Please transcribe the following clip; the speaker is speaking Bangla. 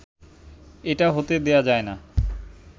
এটা হতে দেয়া যায় না।